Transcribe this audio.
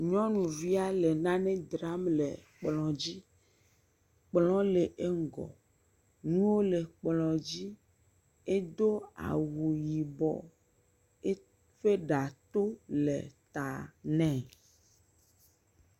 Nyɔnu via le nane dram le kplɔ̃ dzi, kplɔ̃ le eŋgɔ, nuwo le kplɔ̃ dzi, edo awu yibɔ, eƒe ɖa to le ta nee.